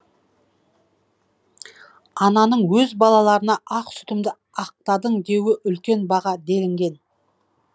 ананың өз балаларына ақ сүтімді ақтадың деуі үлкен баға делінген